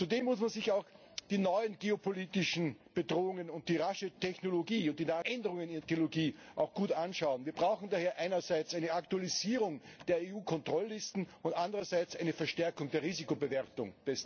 Zudem muss man sich auch die neuen geopolitischen Bedrohungen und die raschen Veränderungen der Technologie gut anschauen. Wir brauchen daher einerseits eine Aktualisierung der EU Kontrolllisten und andererseits eine Verstärkung der Risikobewertung.